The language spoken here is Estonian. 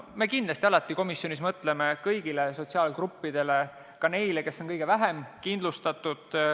Me mõtleme komisjonis kindlasti alati kõigile sotsiaalgruppidele – ka neile, kes on kõige vähem kindlustatud.